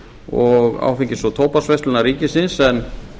og áfengis og tóbaksverslunar ríkisins en